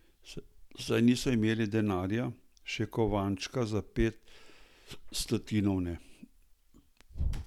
Saj niso imeli denarja, še kovančka za pet stotinov ne.